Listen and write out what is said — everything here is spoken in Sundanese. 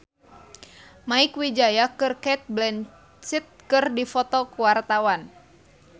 Mieke Wijaya jeung Cate Blanchett keur dipoto ku wartawan